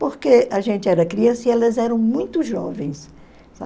Porque a gente era criança e elas eram muito jovens